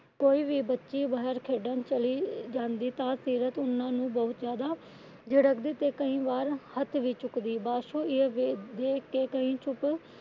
ਕੋਈ ਵੀ ਬੱਚੀ ਬਾਹਰ ਖੇਡਣ ਚੱਲੀ ਜਾਂਦੀ ਤਾ ਸੀਰਤ ਉਹਨਾਂ ਨੂੰ ਬਹੁਤ ਜਿਆਦਾ ਝਿੜਕ ਦੀ ਤੇ ਕਈ ਵਾਰ ਹੱਥ ਵੀ ਚੱਕਦੀ। ਪਾਸ਼ੋ ਇਹ ਵੇਖ ਕੇ ਚੁੱਪ